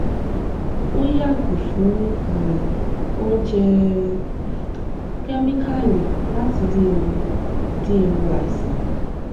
ó yààgò fún um oúnjẹ kẹmíkààlì láti dín ewu dín ewu àìsàn